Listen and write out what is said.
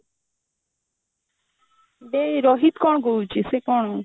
ବେ ରୋହିତ କଣ କହୁଛି ସେ କଣ